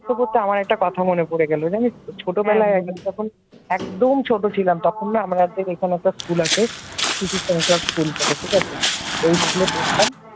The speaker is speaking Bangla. বলতে বলতে আমার একটা কথা মনে পড়ে জানিস তো ছোটবেলায় একদিন জানিস তো যখন একদম ছোট ছিলাম তখন না আমাদের একটা school আছে শিশু সংসাদ school বলে ঠিক আছে? ওই school পড়তাম